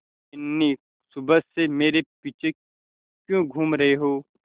बिन्नी सुबह से मेरे पीछे क्यों घूम रहे हो